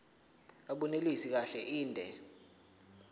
abunelisi kahle inde